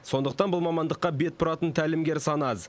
сондықтан бұл мамандыққа бет бұратын тәлімгер саны аз